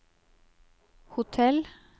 hotell